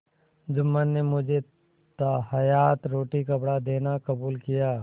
जुम्मन ने मुझे ताहयात रोटीकपड़ा देना कबूल किया